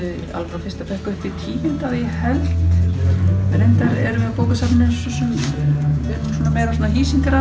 frá fyrsta bekk upp í tíunda að ég held reyndar erum við á bókasafninu meira svona